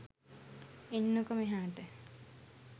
එන්නකො මෙහාට